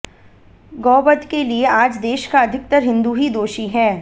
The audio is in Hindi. गौवध के लिए आज देश का अधिकतर हिंदू ही दोषी है